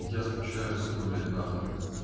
я скучаю сука блять нахуй